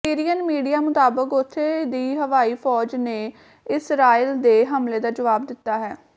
Syrian media ਮੁਤਾਬਕ ਉੱਥੇ ਦੀ ਹਵਾਈ ਫੌਜ ਨੇ ਇਸਰਾਈਲ ਦੇ ਹਮਲੇ ਦਾ ਜਵਾਬ ਦਿੱਤਾ ਹੈ